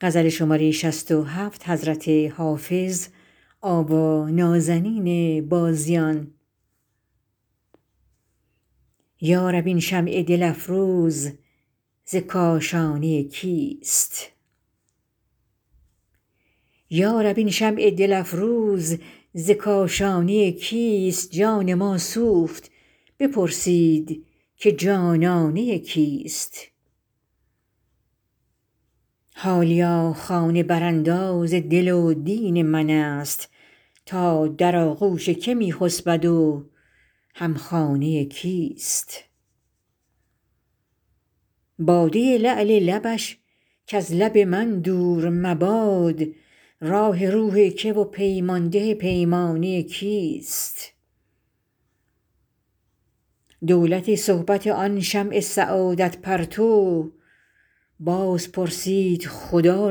یا رب این شمع دل افروز ز کاشانه کیست جان ما سوخت بپرسید که جانانه کیست حالیا خانه برانداز دل و دین من است تا در آغوش که می خسبد و هم خانه کیست باده لعل لبش کز لب من دور مباد راح روح که و پیمان ده پیمانه کیست دولت صحبت آن شمع سعادت پرتو باز پرسید خدا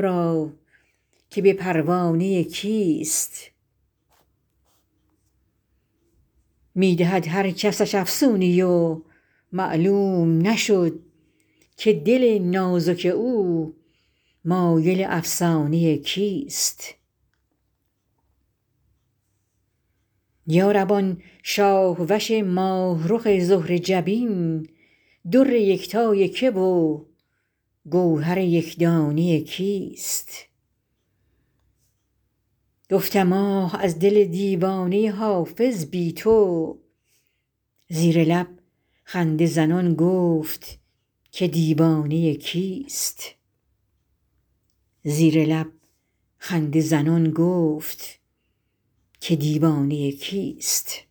را که به پروانه کیست می دهد هر کسش افسونی و معلوم نشد که دل نازک او مایل افسانه کیست یا رب آن شاه وش ماه رخ زهره جبین در یکتای که و گوهر یک دانه کیست گفتم آه از دل دیوانه حافظ بی تو زیر لب خنده زنان گفت که دیوانه کیست